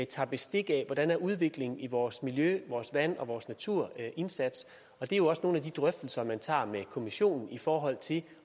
tager bestik af hvordan udviklingen i vores miljø vores vand og vores naturindsats og det er jo også nogle af de drøftelser man tager med kommissionen i forhold til